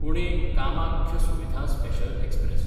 Pune Kamakhya Suvidha special express